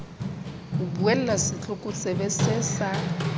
ho buella setlokotsebe see sa